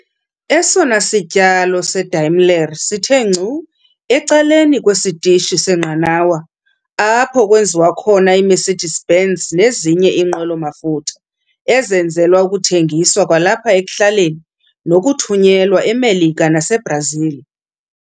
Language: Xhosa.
esona sityalo seDaimler sithe ngcu ecaleni kwesitishi seenqanawa, apho kwenziwa khona iMercedes-Benz nezinye iinqwelo-mafutha ezenzelwa ukuthengiswa kwalapha ekuhlaleni, nokuthunyelwa eMelika naseiBrazil.